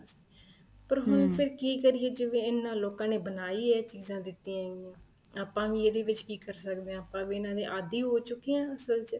ਪਰ ਹੁਣ ਫ਼ੇਰ ਕੀ ਕਰੀਏ ਜਿਵੇਂ ਇਹਨਾ ਲੋਕਾਂ ਨੇ ਬਣਾਈ ਏ ਚੀਜ਼ਾਂ ਦਿੱਤੀਆਂ ਹੈਗੀਆਂ ਆਪਾਂ ਵੀ ਇਹਦੇ ਵਿੱਚ ਕੀ ਕਰ ਸਕਦੇ ਹਾਂ ਆਪਾਂ ਵੀ ਇਹਨਾ ਦੇ ਆਦੀ ਹੋ ਚੁੱਕੇ ਆ ਅਸਲ ਚ